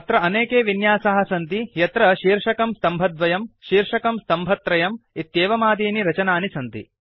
तत्र अनेके विन्यासाः सन्ति यत्र शीर्षकम् स्तम्भद्वयम् शीर्षकम् स्तम्भत्रयम् इत्येवमादीनि रचनानि सन्ति